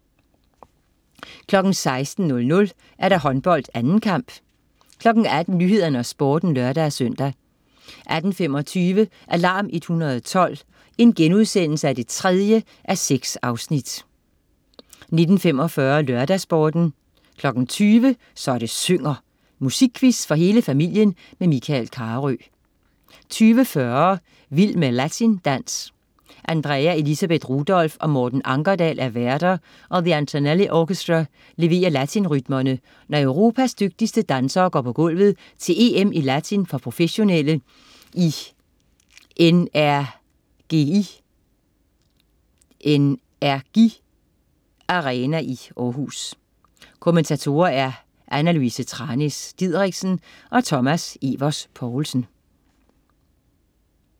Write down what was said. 16.00 Håndbold: 2. kamp 18.00 Nyhederne og Sporten (lør-søn) 18.25 Alarm 112 3:6* 19.45 LørdagsSporten 20.00 Så det synger. Musikquiz for hele familien. Michael Carøe 20.40 Vild med latindans. Andrea Elisabeth Rudolph og Morten Ankerdal er værter, og The Antonelli Orchestra leverer latinrytmerne, når Europas dygtigste dansere går på gulvet til EM i latin for professionelle i NRGi Arena i Århus. Kommentatorer: Anna Louise Thranæs Didriksen og Thomas Evers Poulsen